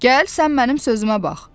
Gəl sən mənim sözümə bax.